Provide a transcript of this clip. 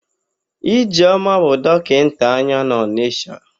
Ijeọma bụ dọkịnta anya n'Ọnịsha.